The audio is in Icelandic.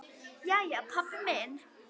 Jæja, pabbi minn.